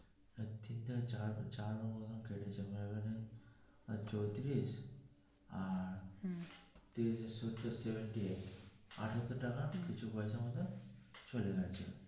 চারবার চারবার ওই রকম কেটেছে চৌত্রিশ আর তিন সতেরো seventy-eight আটাত্তর টাকা কিছু পয়সা মতো চলে গেছে.